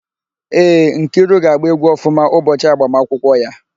Ee, Nkiru ga-agba égwú ọfụma ụbọchị agbamakwụkwọ ya.